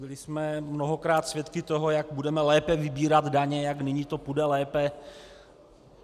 Byli jsme mnohokrát svědky toho, jak budeme lépe vybírat daně, jak nyní to půjde lépe.